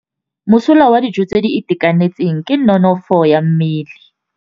Mosola wa dijô tse di itekanetseng ke nonôfô ya mmele.